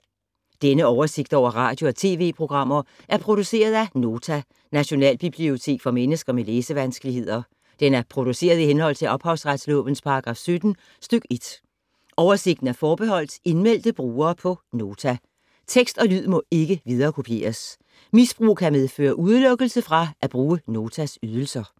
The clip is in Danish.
Denne oversigt over radio og TV-programmer er produceret af Nota, Nationalbibliotek for mennesker med læsevanskeligheder. Den er produceret i henhold til ophavsretslovens paragraf 17 stk. 1. Oversigten er forbeholdt indmeldte brugere på Nota. Tekst og lyd må ikke viderekopieres. Misbrug kan medføre udelukkelse fra at bruge Notas ydelser.